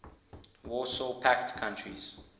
warsaw pact countries